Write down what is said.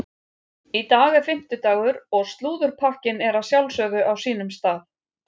Í dag er fimmtudagur og slúðurpakkinn er að sjálfsögðu á sínum stað.